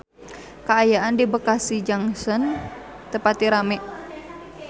Kaayaan di Bekasi Junction teu pati rame